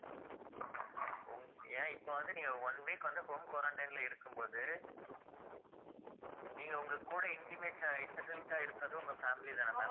உங்~ ஏன் இப்ப வந்து நீங்க one week வந்து home quarantine ல இருக்கும்போது நீங்க உங்க கூட intimate அஹ் இருக்கிறது உங்க family தான ma'am